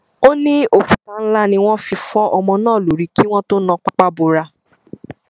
ó ní òkúta ńlá ni wọn fi fọ ọmọ náà lórí kí wọn tóó na pápá bora